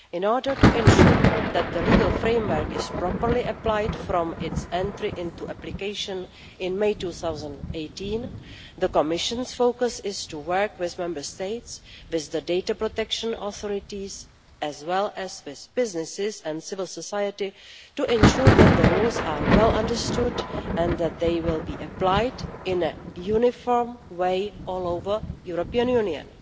In order to ensure that the legal framework is properly applied from its entry into application in May 2018, the Commission's focus is to work with Member States with the data protection authorities as well as with businesses and civil society to ensure that the rules are well understood and that they will be applied in a uniform way all over the European Union.